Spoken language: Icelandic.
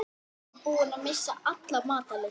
Hann var búinn að missa alla matar lyst.